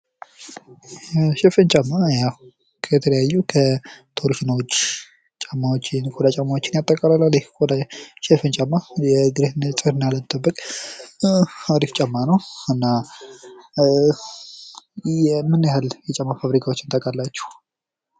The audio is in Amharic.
ሽፍን ጫማ ከተለያዩ ቶርሽኖች ጫማዎች የቆዳ ቻማዎች ያጠቃልላል። ሽፍን ጫማ የእግርን ንጽህና ለመጠበቅ አሪፍ ጫማ ነው። እና ምን ያህል ያጫማ ፋብሪካዎችን ታቃላችሁ?